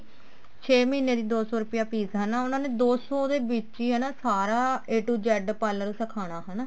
ਛੇ ਮਹੀਨੇ ਦੀ ਦੋ ਸੋ ਰੁਪੇ fees ਹਨਾ ਉਹਨਾ ਨੇ ਦੋ ਸੋ ਦੇ ਵਿੱਚ ਹੀ ਸਾਰਾ a to z parlor ਸਿਖਾਉਣਾ ਹਨਾ